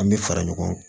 An bɛ fara ɲɔgɔn kan